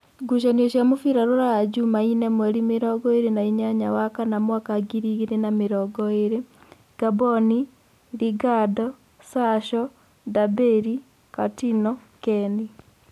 Ngucanio cia mũbira Ruraya Jumaine mweri mĩrongoĩrĩ na-inyanya wa-kana mwaka ngiri igĩrĩ na mĩrongoĩrĩ: Ngamboni, Lingado, Sasho, Ndambĩri, Katino, Keni